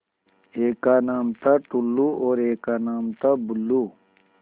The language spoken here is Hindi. एक का नाम था टुल्लु और एक का नाम था बुल्लु